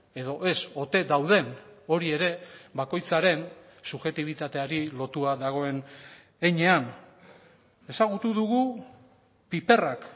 edo ez ote dauden hori ere bakoitzaren subjektibitateari lotua dagoen heinean ezagutu dugu piperrak